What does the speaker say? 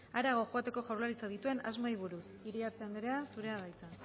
harago joateko jaurlaritzak dituen asmoei buruz iriarte andrea zurea da hitza